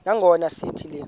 nangona sithi le